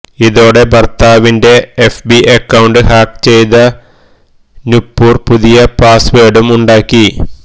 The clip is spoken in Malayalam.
ഇതോടെ ഭർത്താവിന്റെ എഫ്ബി അക്കൌണ്ട് ഹാക്ക് ചെയ്ത നുപുർ പുതിയ പാസ്വേഡും ഉണ്ടാക്കി